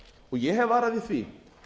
ég hef varað við því